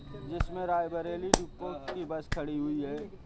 जिसमे रायबरेली डिपो की बस खड़ी हुई है।